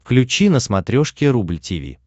включи на смотрешке рубль ти ви